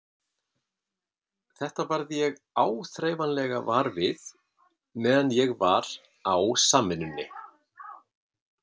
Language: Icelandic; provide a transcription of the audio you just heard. Þetta varð ég áþreifanlega var við meðan ég var á Samvinnunni.